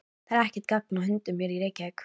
Það er ekkert gagn af hundunum hér í Reykjavík.